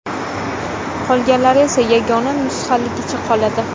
Qolganlari esa yagona nusxaligicha qoladi.